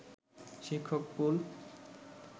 শিক্ষক পুল